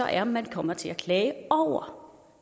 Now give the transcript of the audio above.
er man kommer til at klage over